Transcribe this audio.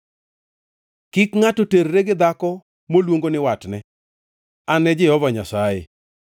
“ ‘Kik ngʼato terre gi dhako moluongo ni watne. An e Jehova Nyasaye.